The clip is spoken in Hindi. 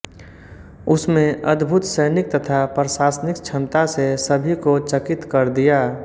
उसमें अद्भुत सैनिक तथा प्रशासनिक क्षमता से सभी को चकित कर दिया